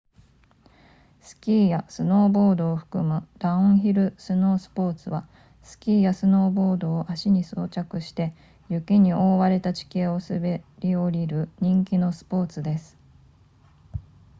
スキーやスノーボードを含むダウンヒルスノースポーツはスキーやスノーボードを足に装着して雪に覆われた地形を滑り降りる人気のスポーツです